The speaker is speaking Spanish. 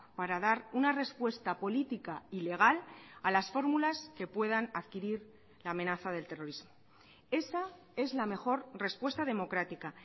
para dar una respuesta política y legal a las fórmulas que puedan adquirir la amenaza del terrorismo esa es la mejor respuesta democrática